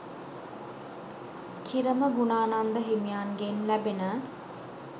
කිරම ගුණානන්ද හිමියන්ගෙන් ලැබෙන